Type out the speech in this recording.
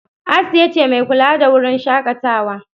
Asiya ce mai kula da wurin shakatawa.